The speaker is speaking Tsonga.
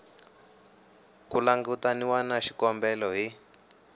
ku langutaniwa na xikombelo hi